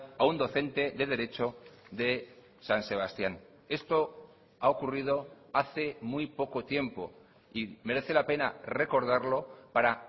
a un docente de derecho de san sebastián esto ha ocurrido hace muy poco tiempo y merece la pena recordarlo para